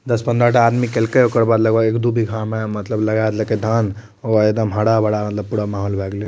दस पंद्राटा आदमी केल के ओकर बाद लगभग एक दु बीघा में मतलब लगा देल के धान ओ के एकदम हरा-भरा माहौल भए गैले।